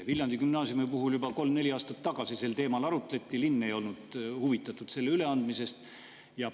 Viljandi gümnaasiumi puhul arutleti juba kolm-neli aastat tagasi sel teemal, linn ei olnud üleandmisest huvitatud.